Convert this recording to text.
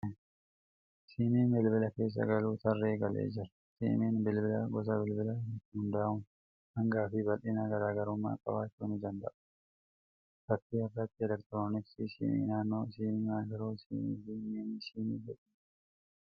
Siimiin bilbilaa keessa galuu tarree galee jira. Siimiin bilbilaa gosa bilbilaa irratti hundaa'uun hangaa fi bal'inaa garaagarummaa qabaachuu ni danda'u. Fakkii irratti elektiroonisks Siim, Naanoo siim Maayikroo siim fi Miinii siim jedhee jira.